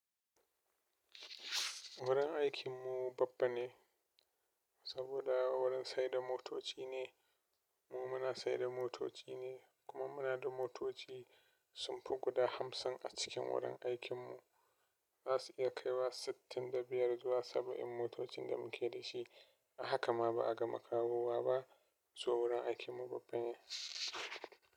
Wurin aikin mu babban ne saboda wurin sayar da motoci ne, mu muna sayar da motoci ne kuma muna da motoci sun fi guda hamsin a cikin wurin aikin mu. Za su iya kaiwa sittin da biyar zuwa saba'in motocin da muke da shi. Hakama ba'a gama kawowa ba, so wurin aikin mu babban ne.